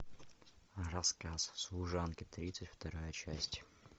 рассказ служанки тридцать вторая часть